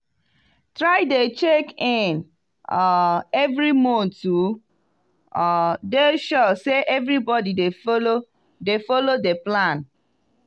try dey check in um every month to um dey sure say everybody dey follow follow de plan.